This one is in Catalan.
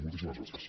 moltíssimes gràcies